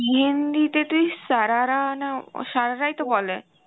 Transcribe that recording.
এমনিতে তুই সারারা না সারারাই তো বলে